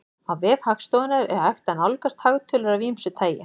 Á vef Hagstofunnar er hægt að nálgast hagtölur af ýmsu tagi.